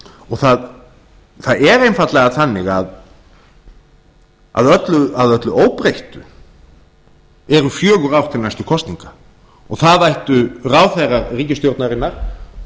og það er einfaldlega þannig að að öllu óbreyttu eru fjögur ár til næstu kosninga og það ættu ráðherrar ríkisstjórnarinnar það þýðir